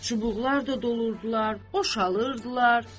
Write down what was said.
Çubuqlar da doldurdular, boşaldırdılar.